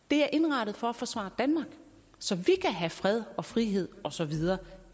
det er indrettet for at forsvare danmark så vi kan have fred og frihed og så videre